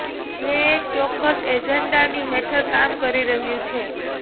જે એક ચોક્કસ એજન્ડાની હેઠળ કામ કરી રહ્યું છે